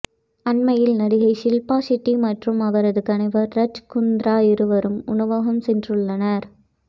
அண்மையில் நடிகை ஷில்பா ஷெட்டி மற்றும் அவரது கணவர் ராஜ் குந்த்ரா இருவரும் உணவகம் சென்றுள்ளனர்